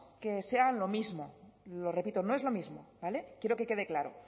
que sea lo mismo lo repito no es lo mismo vale quiero que quede claro